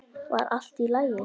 Var allt í lagi?